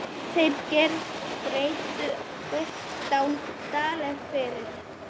Þeir greiddu fimmtán dali fyrir.